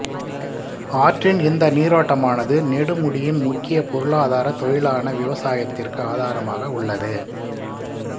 ஆற்றின் இந்த நீரோட்டமானது நெடுமுடியின் முக்கிய பொருளாதார தொழிலான விவசாயத்திற்கு ஆதாரமாக உள்ளது